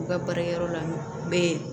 U ka baarakɛyɔrɔ la n bɛ